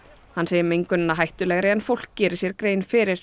hann segir mengunina hættulegri en fólk geri sér grein fyrir